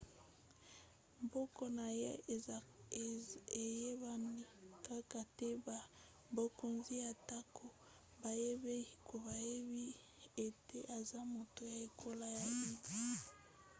nkombo na ye eyebani kaka te na bakonzi atako bayebi ete aza moto ya ekolo ya uighur